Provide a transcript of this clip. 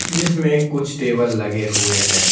जिसमें कुछ टेबल लगे हुए हैं।